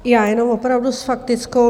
Já jenom opravdu s faktickou.